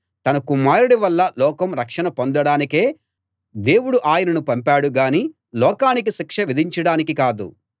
తన కుమారుడి వల్ల లోకం రక్షణ పొందడానికే దేవుడు ఆయనను పంపాడు గానీ లోకానికి శిక్ష విధించడానికి కాదు